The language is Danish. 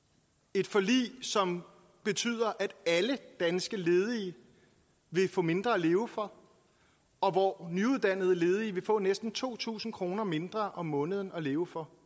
et forlig som betyder at alle danske ledige vil få mindre at leve for og hvor nyuddannede ledige vil få næsten to tusind kroner mindre om måneden at leve for